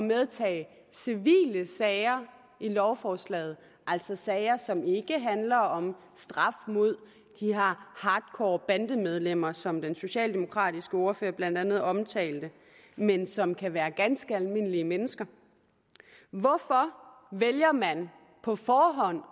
medtage civile sager i lovforslaget altså sager som ikke handler om straf mod de her hardcore bandemedlemmer som den socialdemokratiske ordfører blandt andet omtalte men som kan være ganske almindelige mennesker hvorfor vælger man på forhånd